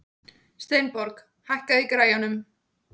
Steinborg, hækkaðu í græjunum.